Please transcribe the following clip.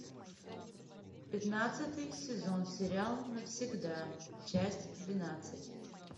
пятнадцатый сезон сериал навсегда часть двенадцать